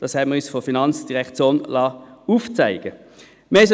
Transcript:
Dies haben wir uns von der FIN aufzeigen lassen.